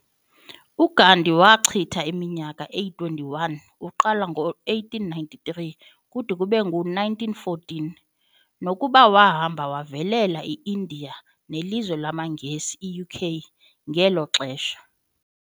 uGandhi wachita iminyaka eyi 21 uqala ngo 1893 kude kube ngu 1914, nokuba wahamba wavelela iIndia nelizwe lamangesi UK ngelo xesha.